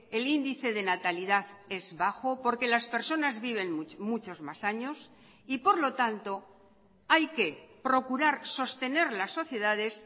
el índice de natalidad es bajo porque las personas viven muchos más años y por lo tanto hay que procurar sostener las sociedades